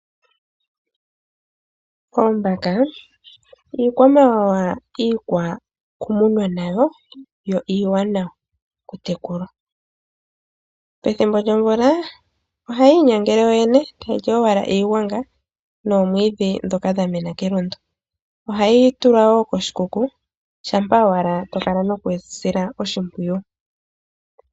Oombaka iikwamawawa iikwakumunwa nayo, yo iiwanawa oku tekulwa pethimbo lyomvula ohayi inyangele yoyene tayi li owala iigwanga noomwiidhi dhoka dha mena kelundu, ohayi tulwa wo koshikuku shampa owala to kala nokudhi sila oshimpwiyu.